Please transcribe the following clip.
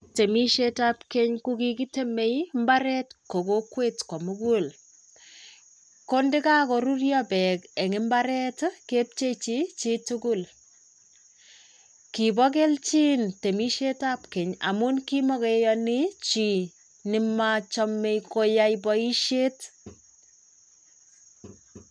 Temishetab keny kokigitemei mbaret ko kokwet komugul. Kondikakoruryo beek eng imbaret kepcheji chitugul. Kiibo keljin temishetab keny amu kimakiyani chi nemachamei koyai boishet.